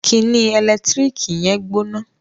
Kíni ẹlẹtíríkì yẹn gbóná